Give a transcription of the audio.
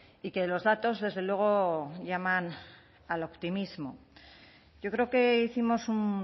y que los datos desde luego llaman al optimismo yo creo que hicimos un